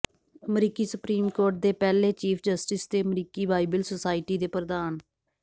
ਅਮਰੀਕੀ supreme court ਦੇ ਪਹਿਲੇ ਚੀਫ਼ ਜਸਟਿਸ ਅਤੇ ਅਮਰੀਕੀ ਬਾਈਬਲ ਸੋਸਾਇਟੀ ਦੇ ਪ੍ਰਧਾਨ